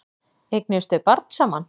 Eignuðust þau barn saman?